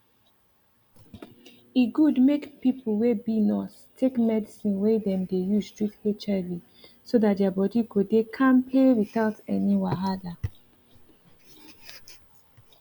e good make people wey be nurse take medicine wey dem dey use treat hiv so that their body go dey kampe without any wahala